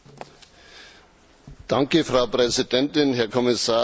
Frau Präsidentin, Herr Kommissar, werte Kolleginnen und Kollegen!